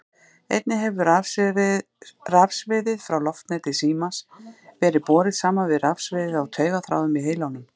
Einnig hefur rafsviðið frá loftneti símans verið borið saman við rafsviðið á taugaþráðum í heilanum.